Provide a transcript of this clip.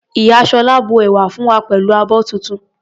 Ìyá Sola bu ẹ̀wà fún wa pẹ̀lú abọ́ tuntun.